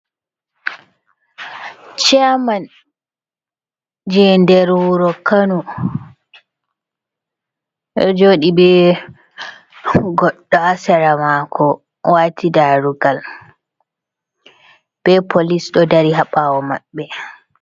Ciyaman je nder wuro kano oɗo jooɗi ɓe goɗɗo ha sera mako wati darugal be polis ɗo dari ha ɓawo maɓɓe.